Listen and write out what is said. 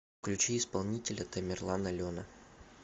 включи исполнителя тамерланалена